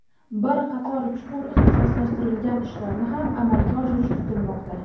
Bir qator chuqur ixtisoslashtirilgan ishlarni ham amalga oshirish kutilmoqda.